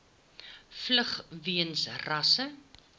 vlug weens rasse